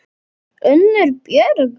Unnur Björg.